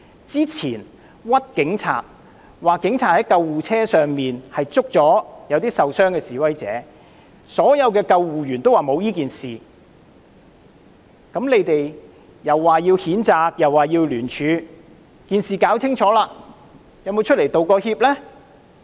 之前冤枉警察說警察在救護車上拘捕受傷的示威者，所有的救護員也說沒有此事，你們又說要譴責和聯署，但在事情弄清楚後，有否出來道歉呢？